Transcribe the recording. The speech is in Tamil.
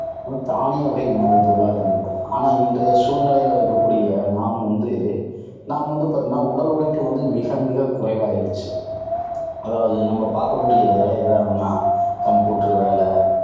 தானிய வகை உணவு பொருளாக இருந்தது. ஆனால், இன்றைய சூழ்நிலையில இருக்கக்கூடிய நாம் வந்து, நாம் வந்து பாத்தீங்கன்னா, உடல் உழைப்பு வந்து மிக மிகக்குறைவாயிருச்சு. அதாவது நம்ம பார்க்கக்கூடிய வேலை எது எதுனா computer வேலை,